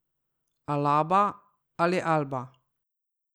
Alaba ali Alba?